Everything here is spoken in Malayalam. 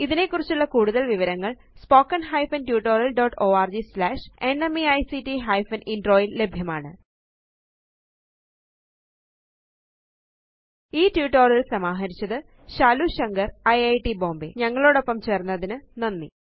ഇതിനെക്കുറിച്ചുള്ള കൂടുതല് വിവരങ്ങള് spoken hyphen tutorial dot org slash NMEICT hyphen intro യില് ലഭ്യമാണ് ഈ ട്യൂട്ടോറിയൽ സമാഹരിച്ചത് ശാലു ശങ്കർ ഐറ്റ് ബോംബേ ഞങ്ങളോടൊപ്പം ചേർന്നതിനു നന്ദി